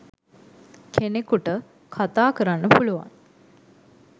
කෙනෙකුට කතා කරන්න පුලුවන්